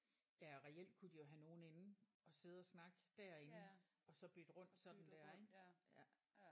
Ja og reelt kunne de jo have nogen inde at sidde og snakke derinde og så bytte rundt sådan der ik ja